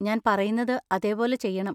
ഞാൻ പറയുന്നത് അതേപോലെ ചെയ്യണം